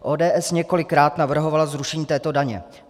ODS několikrát navrhovala zrušení této daně.